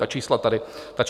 Ta čísla tady padla.